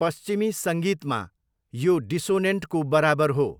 पश्चिमी सङ्गीतमा, यो डिसोनेन्टको बराबर हो।